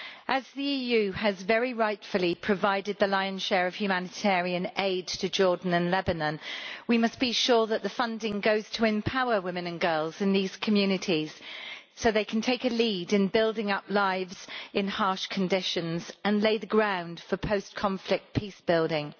As the EU has very rightfully provided the lion's share of humanitarian aid to Jordan and Lebanon, we must be sure that the funding goes to empower women and girls in these communities so that they can take a lead in building up lives in harsh conditions and lay the ground for post-conflict peace building.